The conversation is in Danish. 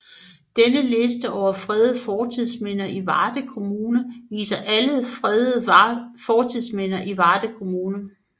Denne liste over fredede fortidsminder i Varde Kommune viser alle fredede fortidsminder i Varde Kommune